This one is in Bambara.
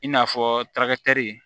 I n'a fɔ tarakatɛri